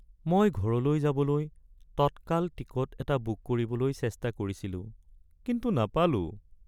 মই ঘৰলৈ যাবলৈ টটকাল টিকট এটা বুক কৰিবলৈ চেষ্টা কৰিছিলো কিন্তু নাপালোঁ।